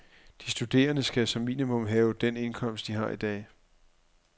De studerende skal som minimum have den indkomst, de har i dag.